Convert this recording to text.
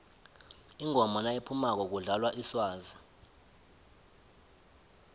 ingoma nayiphumako kudlalwa iswazi